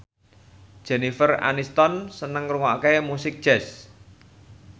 Jennifer Aniston seneng ngrungokne musik jazz